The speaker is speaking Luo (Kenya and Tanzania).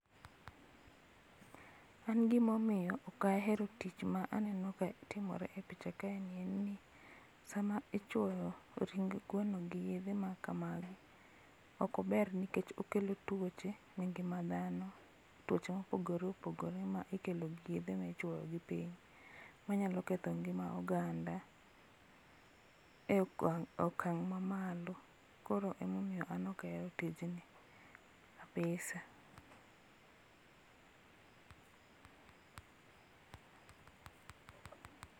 An gima omiyo ok ahero tich ma aneno ka timore e picha kae en ni sama ichuoyo ring gweno gi yedhe ma kamagi ok ober nikech okelo tuoche e ngima dhano, tuoche ma opogore opogore ma ikelo gi yedhe michuoyo gi piny manyalo ketho ngima oganda e okang' mamalo. Koro ema omiyo en ok aher tiyo tijni kabisa